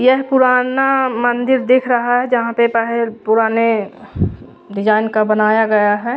यहाँ पुराना मंदिर दिख रहा है जहाँ पे बहेर पुराने जान का बनाया गया है।